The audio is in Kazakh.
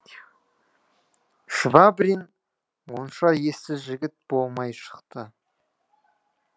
швабрин онша ессіз жігіт болмай шықты